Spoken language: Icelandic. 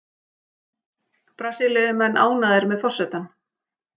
Brasilíumenn ánægðir með forsetann